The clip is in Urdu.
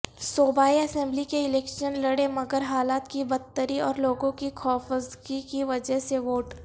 صوبائی اسمبلی کے الیکشن لڑے مگرحالات کی بدتری اورلوگوں کی خوفزدگی کی وجہ سے ووٹ